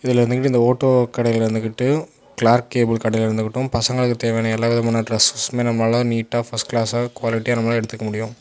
இதுல இருந்துகிட்டு இந்த வோட்டோ கடையில இருந்துகிட்டு கிளார்க்கு கேபிள் கடையில இருந்து கிட்டும் பசங்களுக்கு தேவையான எல்லா விதமான டிரஸஸ்ஸும் நம்மால நீட்டா ஃபர்ஸ்ட் கிளாஸ் குவாலிட்டியா நம்மலால எடுத்துக்க முடியும்.